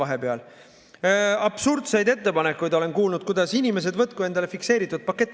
Olen kuulnud absurdseid ettepanekuid, et inimesed võtku endale fikseeritud pakett.